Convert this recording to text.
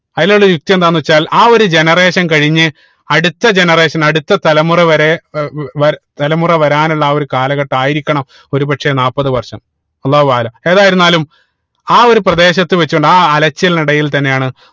അതിലുള്ള യുക്തി എന്താണെന്ന് വെച്ചാൽ ആ ഒരു Generation കഴിഞ്ഞു അടുത്ത Generation അടുത്ത തലമുറ വരെ വ തലമുറ വരാനുള്ള ആ ഒരു കാലഘട്ടം ആയിരിക്കണം ഒരു പക്ഷേ നാപ്പത് വർഷം അള്ളാഹു ഏതായിരുന്നാലും ആ ഒരു പ്രദേശത്ത് വെച്ചു കൊണ്ടാണ് ആ അലച്ചിൽനിടയിൽ തന്നെയാണ്